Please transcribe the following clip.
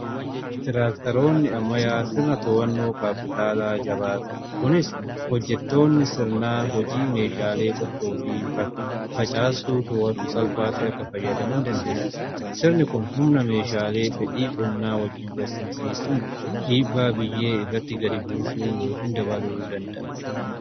Tiraaktaroonni ammayyaa sirna to'annoo kaapitaalaa jabaa qabu. kunis hojjettoonni sirnaa hojii meeshaalee qottoo fi facaastuu toowatu salphaatti akka fayyadaman dandeessisa. Sirni kun humna meeshaalee fedhii qonnaa wajjiin walsimsiisuun dhiibbaa biyyee irratti gadi buusuu yookiin dabaluu danda'a.